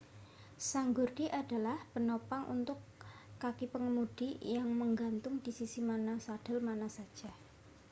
sanggurdi adalah penopang untuk kaki pengemudi yang menggantung di sisi mana sadel mana saja